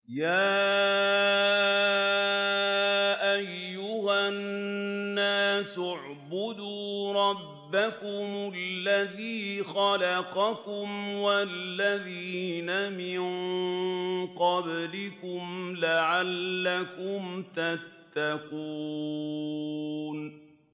يَا أَيُّهَا النَّاسُ اعْبُدُوا رَبَّكُمُ الَّذِي خَلَقَكُمْ وَالَّذِينَ مِن قَبْلِكُمْ لَعَلَّكُمْ تَتَّقُونَ